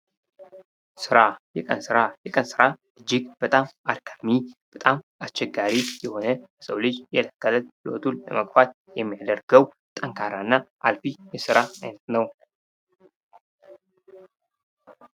ስራ የቀን ስራ የቀን ስራ እጅግ በጣም አድካሚ በጣም አስቸጋሪ የሆነ የሰው ልጅ የለት ከእለት ህይወቱን ለመግፋት የሚያደርገው ጠንካራና አልፊ የስራ አይነት ነው።